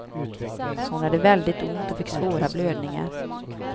Hon hade väldigt ont och fick svåra blödningar.